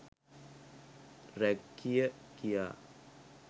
rag කිය කියා